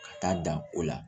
Ka taa dan o la